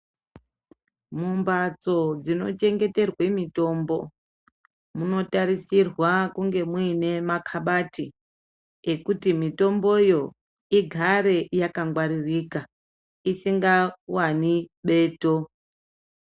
Mumbatso dzinochengeterwe mitombo munotarisirwa kunge muine makabati ekuti mitomboyo igare yakangwaririka, isingawani beto.